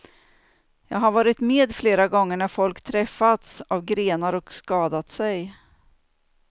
Jag har varit med flera gånger när folk träffats av grenar och skadat sig.